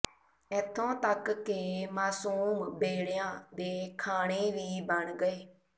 ਇੱਥੋਂ ਤੱਕ ਕਿ ਮਾਸੂਮ ਬੇੜਿਆਂ ਦੇ ਖਾਣੇ ਵੀ ਬਣ ਗਏ